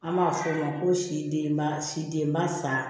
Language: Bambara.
An b'a fɔ o ma ko si denba sidenba sa